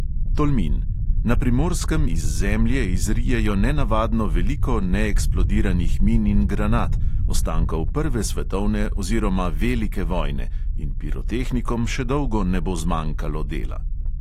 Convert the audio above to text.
Tolmin: na primorskem iz zemlje izrijejo nenavadno veliko neeksplodiranih min in granat, ostankov prve svetovne oziroma velike vojne in pirotehnikom še dolgo ne bo zmanjkalo dela.